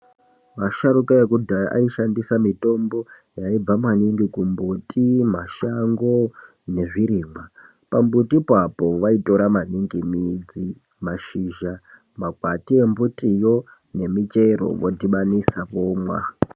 Asharukwa ekudhaya aishandisa mitombo inobva maningi kumbuti, mumashango nezvirimwa. Pambutipo apo vaitora maningi midzi, mashizha, makwati embutiyo nemichero vodhibanisa vomwa.